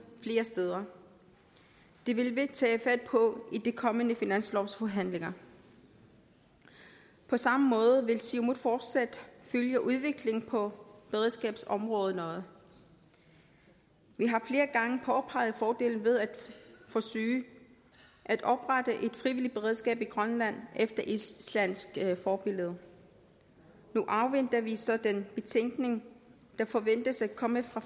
flere steder det vil vi tage fat på i de kommende finanslovsforhandlinger på samme måde vil siumut fortsat følge udviklingen på beredskabsområderne vi har flere gange påpeget fordele ved at forsøge at oprette et frivilligt beredskab i grønland efter islandsk forbillede nu afventer vi så den betænkning der forventes at komme fra